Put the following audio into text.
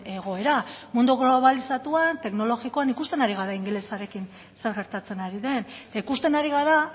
egoera mundu globalizatuan teknologikoan ikusten ari gara ingelesarekin zer gertatzen ari den eta ikusten ari gara